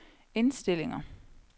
indstillinger